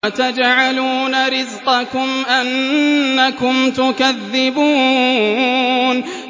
وَتَجْعَلُونَ رِزْقَكُمْ أَنَّكُمْ تُكَذِّبُونَ